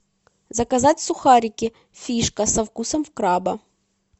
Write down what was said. заказать сухарики фишка со вкусом краба